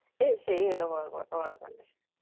এ সেই হলো বড়ো কথা বড়ো কথা